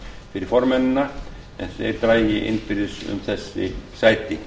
fyrir formennina en þeir dragi innbyrðis um þessi sæti